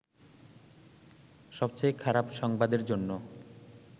সবচেয়ে খারাপ সংবাদের জন্য